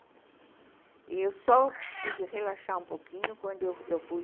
E eu só pude relaxar um pouquinho quando eu fui...